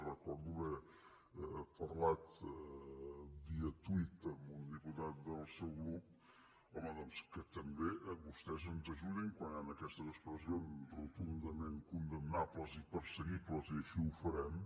recordo haver parlat via tuit amb un diputat del seu grup home doncs del fet que també vostès ens ajudin quan hi han aquestes expressions rotundament condemnables i perseguibles i així ho farem